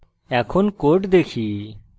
এখন code দেখি